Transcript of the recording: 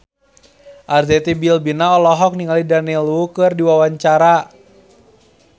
Arzetti Bilbina olohok ningali Daniel Wu keur diwawancara